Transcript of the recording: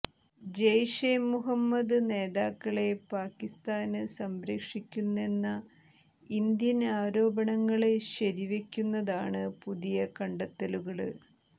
ജെയ്ഷെ മുഹമ്മദ് നേതാക്കളെ പാകിസ്താന് സംരക്ഷിക്കുന്നെന്ന ഇന്ത്യന് ആരോപണങ്ങള് ശരി വെയ്ക്കുന്നതാണ് പുതിയ കണ്ടെത്തലുകള്